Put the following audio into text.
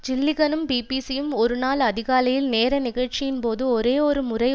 ஜில்லிகனும் பிபிசியும் ஒரு நாள் அதிகாலையில் நேர நிகழ்ச்சியின்போது ஒரே ஒரு முறை